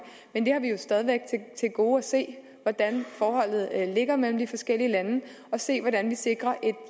men vi har jo stadig væk til gode at se hvordan forholdene er imellem de forskellige lande og se hvordan vi sikrer en